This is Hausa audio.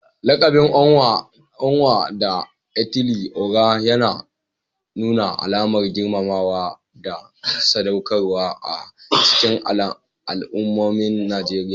Lakabin Onwa-na-etili-ora yana nuna alamar girmamawa da sadaukarwa a cikin al'ummomin Najeriya.